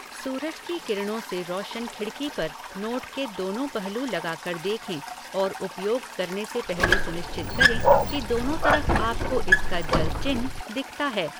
सूरज की किरणों से रोशन खिड़की पर नोट के दोनों पहलू लगाकर देखें और उपयोग करने से पहले सुनिश्चित करें कि दोनों तरफ आपको इसका जल चिन्ह दिखता है।